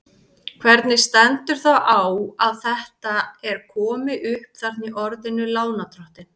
Hvernig stendur þá á að þetta er komi upp þarna í orðinu lánardrottinn?